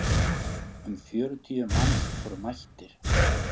Um fjörutíu manns voru mættir.